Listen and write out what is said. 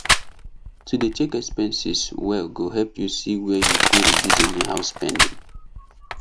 to dey check expenses well go help you see wer you fit reduce anyhow spending